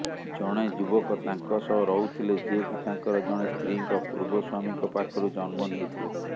ଜଣେ ଯୁବକ ତାଙ୍କ ସହ ରହୁଥିଲେ ଯିଏକି ତାଙ୍କର ଜଣେ ସ୍ତ୍ରୀଙ୍କ ପୂର୍ବ ସ୍ବାମୀଙ୍କ ପାଖରୁ ଜନ୍ମ ନେଇଥିଲେ